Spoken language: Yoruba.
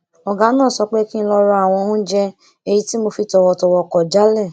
ògá náà sọ pé kí n lọ ra àwọn oúnjẹ èyí tí mo fi tọwọtọwọ kò jálè